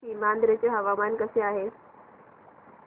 सीमांध्र चे हवामान कसे आहे